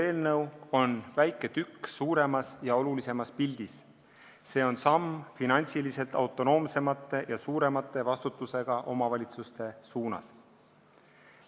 Eelnõu on väike tükk suuremas ja olulisemas pildis, see on samm finantsiliselt autonoomsemate ja suurema vastutusega omavalitsuste suunas.